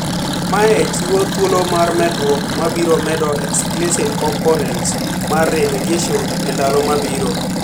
Mae chiwo thuolo mar medruok mabiro medo explicit components mar remediation e ndalo mabiro.